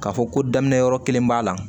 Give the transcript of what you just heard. K'a fɔ ko daminɛ yɔrɔ kelen b'a la